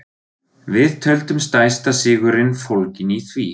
Við töldum stærsta sigurinn fólginn í því.